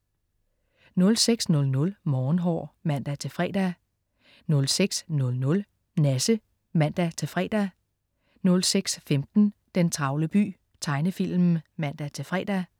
06.00 Morgenhår (man-fre) 06.00 Nasse (man-fre) 06.15 Den travle by. Tegnefilm (man-fre)